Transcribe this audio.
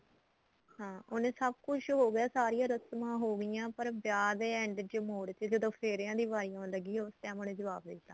ਹਾਂ ਹੁਣ ਸਭ ਕੁੱਝ ਹੋ ਗਿਆ ਸਾਰੀਆਂ ਰਸਮਾਂ ਹੋ ਗਈਆਂ ਪਰ ਵਿਆਹ ਦੇ end ਚ ਮੋੜ ਤੇ ਜਦੋਂ ਫੇਰੇਆਂ ਦੀ ਵਾਰੀ ਆਉਣ ਲੱਗੀ ਉਸ time ਉਹਨੇ ਜਵਾਬ ਦੇਤਾ